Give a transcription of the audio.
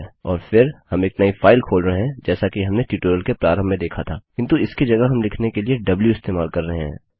और फिर हम एक नई फाइल खोल रहे हैं जैसा कि हमने ट्यूटोरियल के प्रारम्भ में देखा था किन्तु इसकी जगह हम लिखने के लिए द्व इस्तेमाल कर रहे हैं